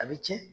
A bɛ tiɲɛ